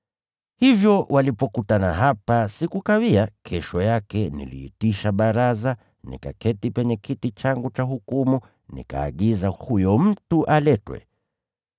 Hivyo walipokutana hapa, sikukawia, kesho yake niliitisha baraza, nikaketi penye kiti changu cha hukumu, nikaagiza huyo mtu aletwe.